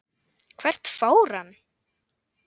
Hvert fór hann?